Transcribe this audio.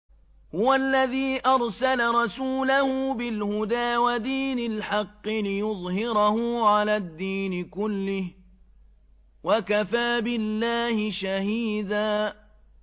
هُوَ الَّذِي أَرْسَلَ رَسُولَهُ بِالْهُدَىٰ وَدِينِ الْحَقِّ لِيُظْهِرَهُ عَلَى الدِّينِ كُلِّهِ ۚ وَكَفَىٰ بِاللَّهِ شَهِيدًا